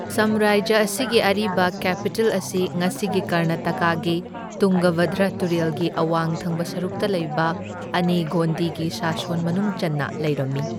ꯁꯥꯝꯔꯥꯖ꯭ꯌ ꯑꯁꯤꯒꯤ ꯑꯔꯤꯕ ꯀꯦꯄꯤꯇꯦꯜ ꯑꯁꯤ ꯉꯁꯤꯒꯤ ꯀꯔꯅꯥꯇꯀꯥꯒꯤ ꯇꯨꯡꯒꯚꯗ꯭ꯔ ꯇꯨꯔꯦꯜꯒꯤ ꯑꯋꯥꯡ ꯊꯪꯕ ꯁꯔꯨꯛꯇ ꯂꯩꯕ ꯑꯅꯦꯒꯣꯟꯗꯤꯒꯤ ꯁꯥꯁꯣꯟ ꯃꯅꯨꯡ ꯆꯟꯅ ꯂꯩꯔꯝꯃꯤ꯫